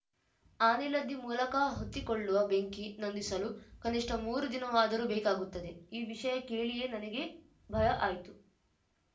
ಆನೆಲದ್ದಿ ಮೂಲಕ ಹೊತ್ತಿಕೊಳ್ಳುವ ಬೆಂಕಿ ನಂದಿಸಲು ಕನಿಷ್ಠ ಮೂರು ದಿನವಾದರೂ ಬೇಕಾಗುತ್ತದೆ ಈ ವಿಷಯ ಕೇಳಿಯೇ ನನಗೆ ಭಯ ಆಯ್ತು